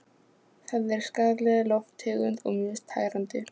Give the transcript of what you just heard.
Það er skaðleg lofttegund og mjög tærandi.